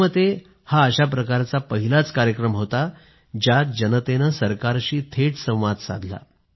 माझ्या मतेहा अशा प्रकारचा पहिलाच कार्यक्रम होता ज्यात जनतेनं सरकारशी थेट संवाद साधला